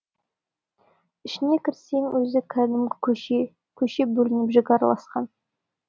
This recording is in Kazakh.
ішіне кірсең өзі кәдімгі көше көшеге бөлініп жік араласқан